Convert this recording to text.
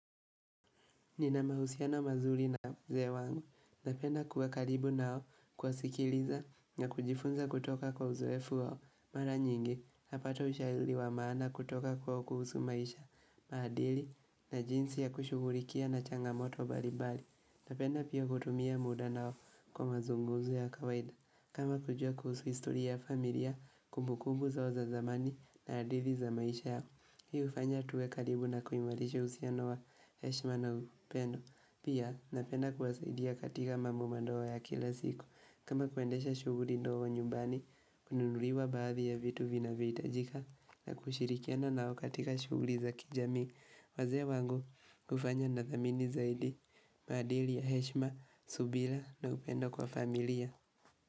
Nina mahusiano mazuri na ze wangu, napenda kuwa karibu nao kuwa sikiliza na kujifunza kutoka kwa uzoefu wao, mara nyingi, napata ushaili wa maana kutoka kwa kuhusu maisha, maadili, na jinsi ya kushugulikia na changamoto baribari, napenda pia kutumia muda nao kwa mazungumzo ya kawaida, kama kujua kuhusu istoria ya familia, kumbukumbu zao za zamani, na adithi za maisha yao. Hii ufanya tuwe karibu na kuimarisha usia no wa Heshma na upendo Pia napenda kuwasaidia katika mambo mandogo ya kila siku kama kuendesha shuguri dogo nyumbani kununuliwa baadhi ya vitu vina vyohita jika na kushirikiana nao katika shuguri za kijamii wazee wangu ufanya na thamini zaidi maadili ya Heshma, Subila na upendo kwa familia.